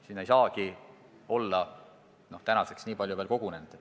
Siin ei saagi olla tänaseks veel nii palju kogunenud.